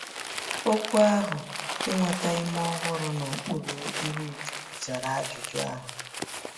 Okwu ahụ “Inweta Ume Ọhụrụ N’okpuru Ihu Chukwu” zara ajụjụ ahụ.